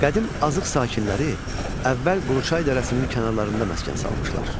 Qədim azıq sakinləri əvvəl Quruçay dərəsinin kənarlarında məskən salmışlar.